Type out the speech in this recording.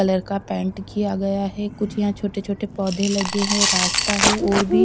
colour का paint किया गया है कुछ यहां छोटे छोटे पौधे लगे हैं रास्ता है और भी--